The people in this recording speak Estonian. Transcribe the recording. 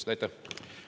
Aitäh!